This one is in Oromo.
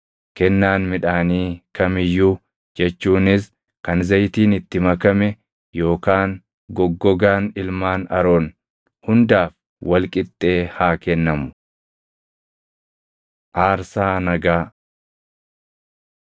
kennaan midhaanii kam iyyuu jechuunis kan zayitiin itti makame yookaan goggogaan ilmaan Aroon hundaaf wal qixxee haa kennamu. Aarsaa Nagaa